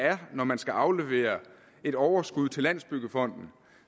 er når man skal aflevere et overskud til landsbyggefonden